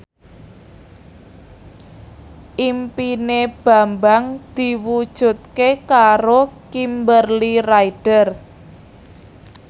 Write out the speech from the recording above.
impine Bambang diwujudke karo Kimberly Ryder